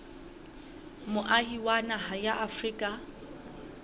moahi wa naha ya afrika